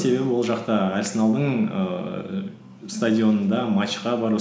себебі ол жақта арсеналдың ііі стадионында матчқа бару